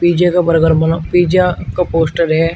पिज्जे के बर्गर बना पिज़्ज़ा का पोस्टर है।